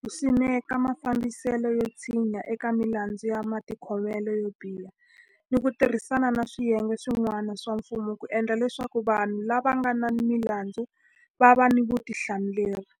ku simeka mafambiselo yo tshinya eka milandzu ya matikhomelo yo biha ni ku tirhisana ni swiyenge swi n'wana swa mfumo ku endla leswaku vanhu lava nga ni milandzu va va ni vutihlamuleri.